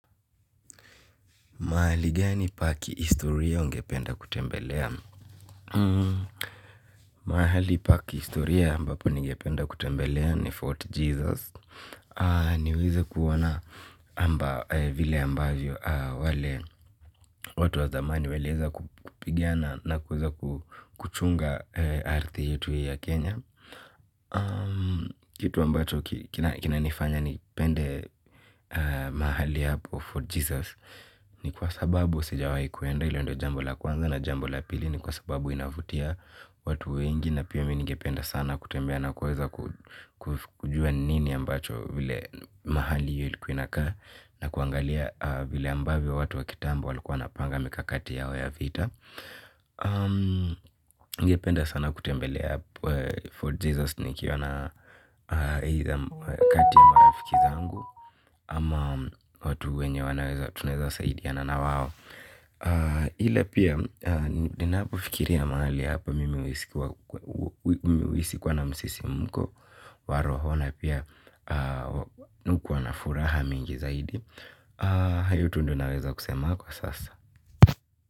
Mahali gani pa kihistoria ungependa kutembelea! Mahali pa kihistoria ambapo ningependa kutembelea ni Fort Jesus. Niweze kuona amba vile ambavyo wale watu wa zamani waliweza kupigina na kuweza kuchunga ardhi yetu ya Kenya. Kitu ambacho kina nifanya nipende mahali hapo fort Jesus. Ni kwa sababu sijawai kwenda ila ndo jambo la kwanza na jambo la pili. Ni kwa sababu inavutia watu wengi na pia mi ningependa sana kutembea na kuweza kujua nini ambacho vile mahali hiyo ilikuwa inakaa. Na kuangalia vile ambavyo watu wa kitambo walikuwa wanapanga mikakati yao ya vita. Ningependa sana kutembelea For Jesus nikiwa na kati ya marafiki zangu. Ama watu wenye wanaweza tunaweza saidiana na wao ila pia ninapofikiria mahali hapo, mimi huhisi kuwa na msisimuko wa roho na pia mi hukuwa na furaha mingi zaidi. Hayo tu ndonaweza kusema kwa sasa.